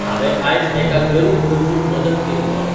हांवे आयज एका गरीब गरजूक मदत केली ऑली